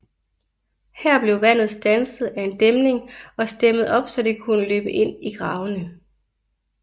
Her blev vandet standset af en dæmning og stemmet op så det kunne løbe ind i gravene